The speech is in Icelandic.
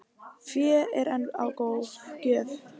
Fé er enn á gjöf